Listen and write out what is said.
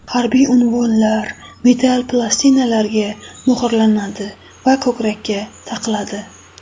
Harbiy unvonlar metall plastinalarga muhrlanadi va ko‘krakka taqiladi.